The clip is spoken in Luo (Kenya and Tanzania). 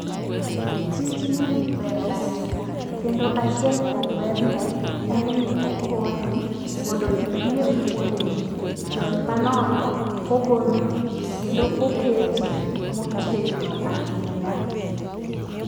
Tijni ber ahinya kendo achiel kuom berne en ni okonyi mondo irie fuonde ni. Jony manono ogoloni kendo oketi motegno ahinya.